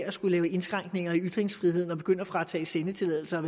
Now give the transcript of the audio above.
at skulle lave indskrænkninger i ytringsfriheden og begynde at fratage sendetilladelser og